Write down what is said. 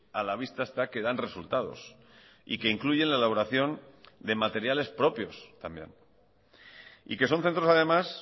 a la vista está que dan resultados y que incluyen la elaboración de materiales propios también y que son centros además